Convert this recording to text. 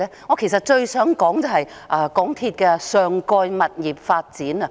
我其實最想談的是港鐵公司的上蓋物業發展。